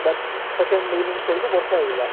but second innings ବେଳକୁ ବର୍ଷା ହେଇଗଲା